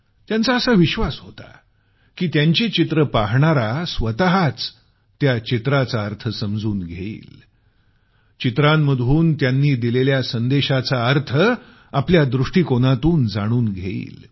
त्यांचा असा विश्वास होता की त्यांची पेंटिंग पाहणारा स्वतःच त्या पेंटिंगचा अर्थ समजून घेईल पेंटिंग्जमधून त्यांनी दिलेल्या संदेशाचा अर्थ आपल्या दृष्टीकोनातून जाणून घेईल